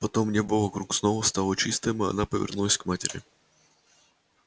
потом небо вокруг снова стало чистым а она повернулась к матери